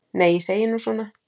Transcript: Nei, ég segi nú svona.